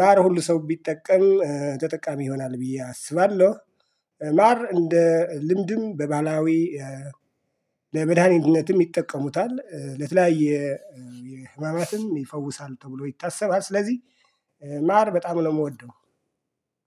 ማር ሁሉ ሰው ቢጠቀም ተጠቃሚ ይሆናል ብዬ አስባለሁ። ማር እንደ ልምድም በባህላዊ ለመድኃኒነትም ይጠቀሙታል ለተለያየ ህማማትም ይፈውሳል ተብሎ ይታሰባል። ስለዚህ ማር በጣም ነው የምወደው።